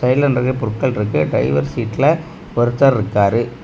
சைடுல நெறைய பொருட்கள் இருக்கு டிரைவர் சீட்ல ஒருத்தர் இருக்காரு.